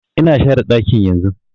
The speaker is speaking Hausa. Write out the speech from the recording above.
Ina share ɗakin yanzun